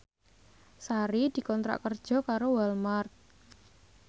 Sari dikontrak kerja karo Walmart